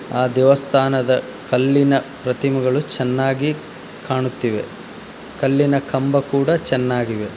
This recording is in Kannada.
ಆ ದೇವಸ್ಥಾನದ ಕಲ್ಲಿನ ಪ್ರತಿಮೆಗಳು ಚೆನ್ನಾಗಿ ಕಾಣುತ್ತಿವೆ ಕಲ್ಲಿನ ಕಂಬ ಕೂಡ ಚೆನ್ನಾಗಿ ಇವೆ.